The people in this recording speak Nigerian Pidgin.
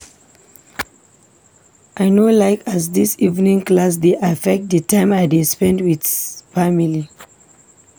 I no like as dis evening class dey affect di time I dey spend wit family.